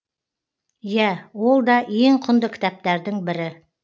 иә ол да ең құнды кітаптардың бірі